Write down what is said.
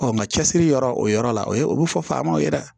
nka cɛsiri yɔrɔ o yɔrɔ la o ye o bɛ fɔ faamaw ye dɛ